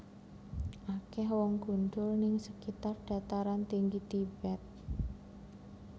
Akeh wong gundul ning sekitar Dataran Tinggi Tibet